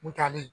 Butalen